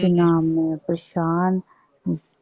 ਇਨਾਂ ਮੈਂ ਪਰੇਸ਼ਾਨ।